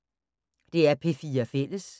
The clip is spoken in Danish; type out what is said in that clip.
DR P4 Fælles